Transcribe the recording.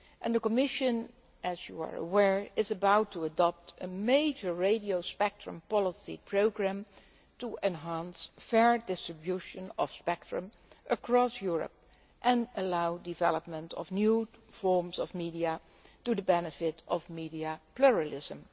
The Commission, as you are aware, is about to adopt a major radio spectrum policy programme to enhance the fair distribution of spectrum across Europe and allow the development of new forms of media to the benefit of media pluralism.